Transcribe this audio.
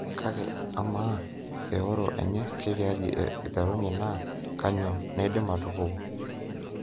Kake ama, eoro enye ketiaji iterunyie na kanyio naidim atupuku?